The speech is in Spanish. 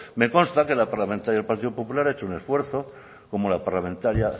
me consta que la parlamentaria del partido popular ha hecho un esfuerzo como la parlamentaria